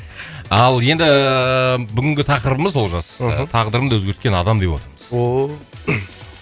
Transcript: ал енді бүгінгі тақырыбымыз олжас мхм тағдырымды өзгерткен адам деп отырмыз